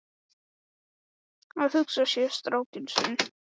Að hugsa sér strákinn sinn í fangaklefa?